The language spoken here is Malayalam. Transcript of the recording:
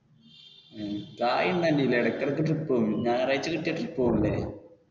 കായ് ഉണ്ടോ അന്റയിൽ ഇടക്ക് ഇടയ്ക്ക് trip പോകും. ഞായറാഴ്ച കിട്ടിയാൽ trip പോകും അല്ലെ.